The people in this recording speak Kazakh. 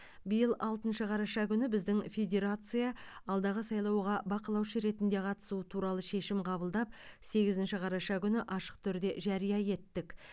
биыл алтыншы қараша күні біздің федерация алдағы сайлауға бақылаушы ретінде қатысу туралы шешім қабылдап сегізінші қараша күні ашық түрде жария еттік